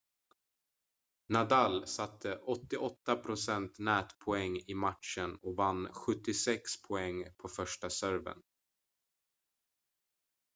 nadal satte 88 % nätpoäng i matchen och vann 76 poäng på första serven